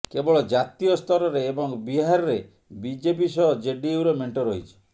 କେବଳ ଜାତୀୟ ସ୍ତରରେ ଏବଂ ବିହାରରେ ବିଜେପି ସହ ଜେଡିୟୁର ମେଣ୍ଟ ରହିଛି